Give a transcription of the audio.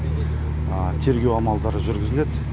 тергеу амалдары жүргізіледі